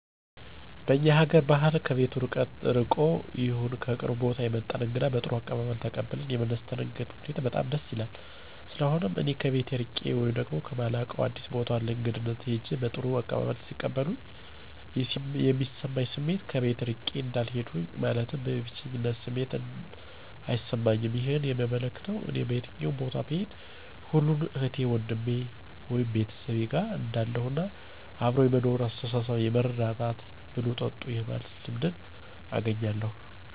በእኛ ሀገአር ባህል ከቤቱ ርቆም ይሁን ከቅርብ ቦታ የመጣን እንግዳ በጥሩ አቀባበል ተቀብለው የሚያስተናግዱበት ሁኔታ በጣም ደስ ይላል። ስለሆነም እኔ ከቤቴ እርቄ ወይም ከማላውቀው አዲስ ቦታ ለእግድነት ሂጀ በጥሩ አቀባበል ሲቀበሉኝ የሚሰማኝ ስሜት ከቤቴ እርቄ እንዳልሄድሁኝ ማለትም የብቸኝነት ስሜት አይሰማኝም ይህም የሚያመለክተው እኔ በየትም ቦታ ብሄድ ሁሉም እህቴ ወንድሜ(ቤተሰቤ)ጋር እንዳለሁ እና አብሮ የመኖር የመተሳሰብ የመረዳዳት፣ ብሉ ጠጡ የማለት ልምድንም አገኛለሁ።